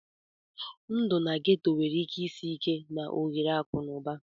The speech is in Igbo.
Ndụ na ghetto nwere ike isi ike na ohere akụ na ụba